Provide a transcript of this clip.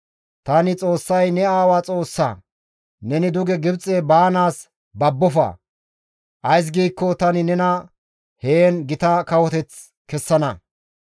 «Tani Xoossay ne aawa Xoossa; neni duge Gibxe baanaas babbofa; ays giikko tani nena heen gita kawoteth kessana.